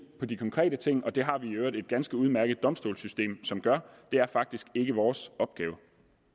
på de konkrete ting og det har vi i øvrigt et ganske udmærket domstolssystem som gør det er faktisk ikke vores opgave